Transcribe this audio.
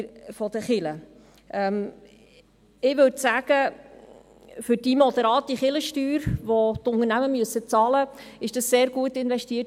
Ich würde sagen, die moderaten Kirchensteuern, welche die Unternehmen bezahlen, sind sehr gut investiert.